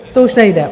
To už nejde?